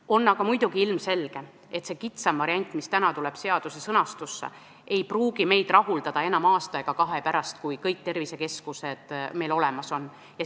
On aga ilmselge, et see kitsam variant, mis täna seaduse sõnastusse tuleb, ei pruugi meid rahuldada enam aasta ega kahe pärast, kui kõik tervisekeskused meil olemas on.